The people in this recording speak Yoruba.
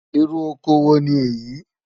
Ìrù ọkọ wo ni éyi?